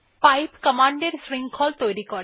pipe command এর শৃঙ্খল তৈরী করে